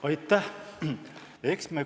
Aitäh!